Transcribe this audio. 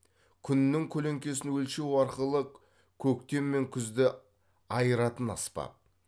күннің көлеңкесін өлшеу арқылы көктем мен күзді айыратын аспап